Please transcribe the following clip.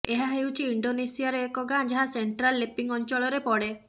ଏହା ହେଉଛି ଇଣ୍ଡୋନେସିଆର ଏକ ଗାଁ ଯାହା ସେଣ୍ଟ୍ରାଲ ଲେପିଙ୍ଗ ଅଞ୍ଚଳରେ ପଡେ